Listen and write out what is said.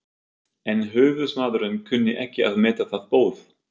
En höfuðsmaðurinn kunni ekki að meta það boð.